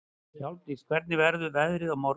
Hjálmdís, hvernig verður veðrið á morgun?